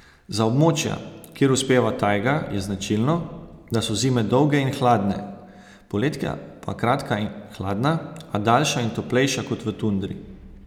Za območja, kjer uspeva tajga, je značilno, da so zime dolge in hladne, poletja pa kratka in hladna, a daljša in toplejša kot v tundri.